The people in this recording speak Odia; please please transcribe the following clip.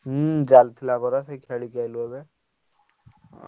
ହୁଁ ଚାଲିଥିଲା ପରା ସେଇ ଖେଳିକି ଆସିଲୁ ଏବେ।